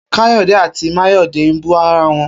Kayode àtí Mayode n bú ráwọn